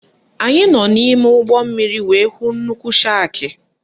Anyị nọ n'ime ụgbọmmiri wee hụ nnukwu shakị